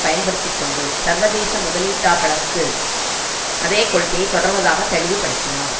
பயன்படுத்தி கொண்டு சர்வதேச முதலீட்டார்களுக்கு அதே கொள்கையை தொடர்வதாக தெளிவு படுத்தினார்